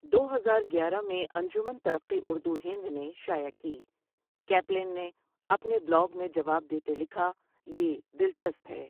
دو ہزار گیارہ میں انجمن ترقی اُردو ہند نے شائع کی کیپلن نے اپنے بلاگ میں جواب دیتے لکھا یہ دلچسپ ہے۔